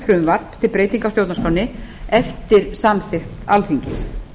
frumvarp til breytinga á stjórnarskránni eftir samþykkt alþingis